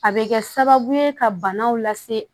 A bɛ kɛ sababu ye ka banaw lase